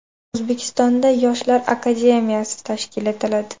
O‘zbekistonda Yoshlar akademiyasi tashkil etiladi.